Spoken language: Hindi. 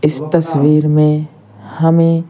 इस तस्वीर में हमें --